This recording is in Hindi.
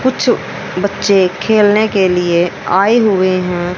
कुछ बच्चे खेलने के लिए आए हुए हैं।